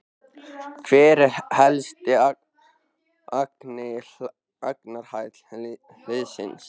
Hver er helsti akkilesarhæll liðsins?